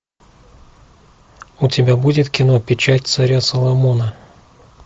у тебя будет кино печать царя соломона